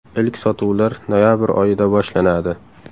Ilk sotuvlar noyabr oyida boshlanadi.